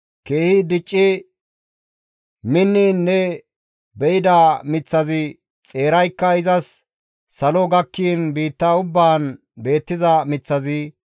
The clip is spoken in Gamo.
Keehi dicci minniin ne be7ida miththazi xeeraykka izas salo gakkiin biitta ubbaan beettiza miththazi,